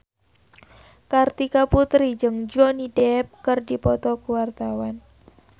Kartika Putri jeung Johnny Depp keur dipoto ku wartawan